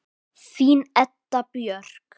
Þín Edda Björk.